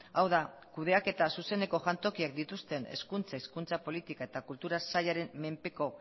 kudeaketa eta zuzeneko jantokia dituzten hezkuntza hizkuntza politika eta kultura sailaren menpeko